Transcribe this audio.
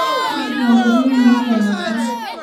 Tujuto nkoriong ino tananga